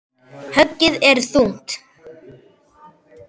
Höggið er þungt.